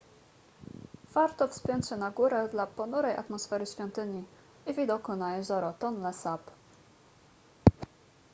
warto wspiąć się na górę dla ponurej atmosfery świątyni i widoku na jezioro tonle sap